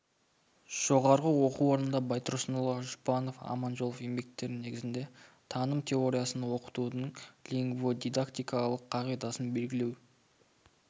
жоғары оқу орнында байтұрсынұлы жұбанов аманжолов еңбектері негізінде таным теориясын оқытудың лингводидактикалық қағидасын белгілеу